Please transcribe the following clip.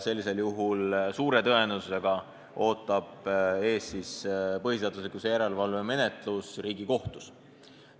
Sellisel juhul ootab suure tõenäosusega ees põhiseaduslikkuse järelevalve menetlus Riigikohtus.